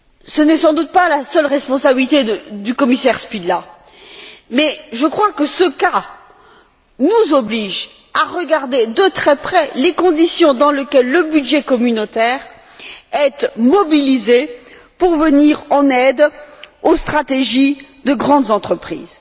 Ce n'est sans doute pas la seule responsabilité du commissaire Špidla, mais je crois que ce cas nous oblige à regarder de très près les conditions dans lesquelles le budget communautaire est mobilisé pour venir en aide aux stratégies de grandes entreprises.